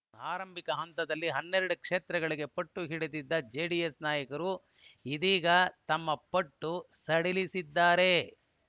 ಆರಂಭಿಕ ಹಂತದಲ್ಲಿ ಹನ್ನೆರಡು ಕ್ಷೇತ್ರಗಳಿಗೆ ಪಟ್ಟುಹಿಡಿದಿದ್ದ ಜೆಡಿಎಸ್ ನಾಯಕರು ಇದೀಗ ತಮ್ಮ ಪಟ್ಟು ಸಡಿಲಿಸಿದ್ದಾರೆ